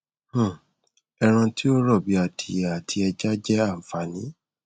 um ẹran tí ó rọ bíi adìẹ àti ẹja jẹ àfààní